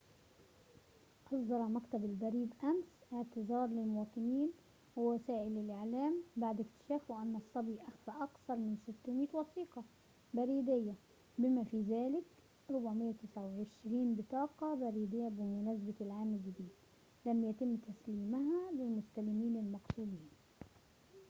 أصدر مكتب البريد أمس اعتذاره للمواطنين ووسائل الإعلام بعد اكتشافه أن الصبي أخفى أكثر من 600 وثيقة بريدية بما في ذلك 429 بطاقة بريدية بمناسبة العام الجديد لم يتم تسليمها للمستلمين المقصودين